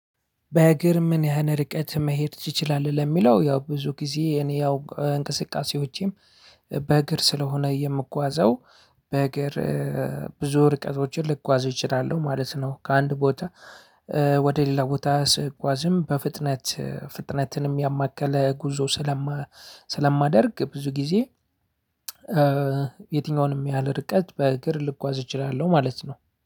"በእግር ምን ያህል ርቀት መሄድ ትችላለህ?" ለሚለው ያው ብዙ ጊዜ እኔ ያው እንቅስቃሴዎቼም በእግር ስለሆነ የምጓዘው በእግር ብዙ ርቀቶችን ልጓዝ እችላለሁ ማለት ነው። ከአንድ ቦታ ወደ ሌላ ቦታ ስጓዝም በፍጥነት ፍጥነትንም ያማከለ ጉዞ ስለማ ስለማደርግ ብዙ ጊዜ የትኛውንም ያህል ርቀት በእግር ልጓዝ እችላለሁ ማለት ነው።